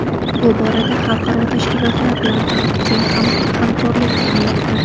Bu borada xalqaro tashkilotlar bilan ham keng hamkorlik qilinmoqda.